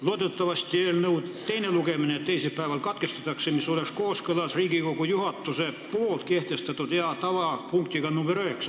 Loodetavasti eelnõu teine lugemine teisipäeval katkestatakse, mis oleks kooskõlas Riigikogu juhatuse kehtestatud hea tava punktiga nr 9.